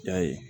I y'a ye